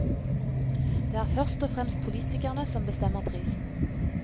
Det er først og fremst politikerne som bestemmer prisen.